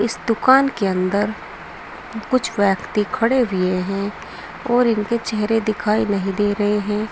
इस दुकान के अंदर कुछ व्यक्ति खड़े हुए हैं और उनके चेहरे दिखाई नहीं दे रहे हैं।